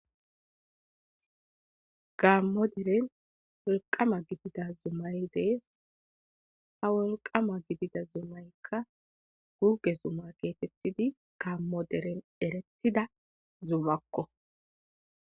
Gaammo diren wolqama gidida zumay de7ee. Ha wolqaama gidida zumaykka guugge Zuma geetettidi gaammo deren erettida zumakko